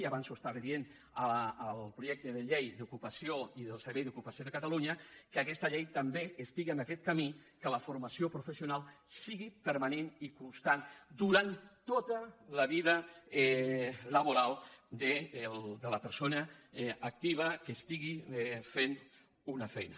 i abans ho estava dient al projecte de llei d’ocupació i del servei d’ocupació de catalunya que aquesta llei també estigui en aquest camí en què la formació professional sigui permanent i constant durant tota la vida laboral de la persona activa que estigui fent una feina